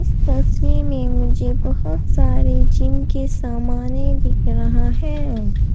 तस्वीर में मुझे बहुत सारे जिम के सामने दिखाई दिख रहा है।